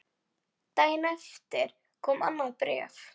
Daginn eftir kom annað bréf.